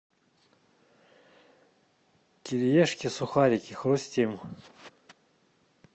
кириешки сухарики хрустим